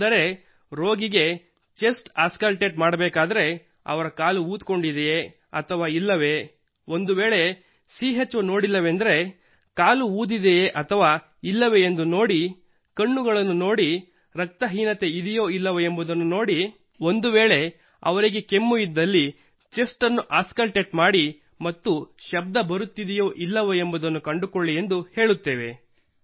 ಅಂದರೆ ರೋಗಿಗೆ chest auscultate ಮಾಡಬೇಕಾದರೆ ಅವರ ಕಾಲು ಊದಿಕೊಂಡಿದೆಯೇ ಅಥವಾ ಇಲ್ಲವೇ ಒಂದುವೇಳೆ ಚೋ ನೋಡಿಲ್ಲವೆಂದರೆ ಕಾಲು ಊದಿದೆಯೇ ಅಥವಾ ಇಲ್ಲವೇ ಎಂದು ನೋಡಿ ಕಣ್ಣುಗಳನ್ನು ನೋಡಿ ರಕ್ತ ಹೀನತೆ ಇದೆಯೋ ಇಲ್ಲವೋ ನೋಡಿ ಒಂದುವೇಳೆ ಅವರಿಗೆ ಕೆಮ್ಮು ಇದ್ದಲ್ಲಿ ಚೆಸ್ಟ್ ಅನ್ನು ಆಸ್ಕಲ್ಟೇಟ್ ಮಾಡಿ ಮತ್ತು ಶಬ್ದ ಬರುತ್ತಿದೆಯೋ ಇಲ್ಲವೋ ಎಂದು ಕಂಡುಕೊಳ್ಳಿ ಎಂದು ಹೇಳುತ್ತೇವೆ